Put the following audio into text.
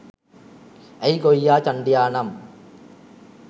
ඇයි ගොයියා චන්ඩියානම්